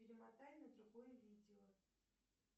перемотай на другое видео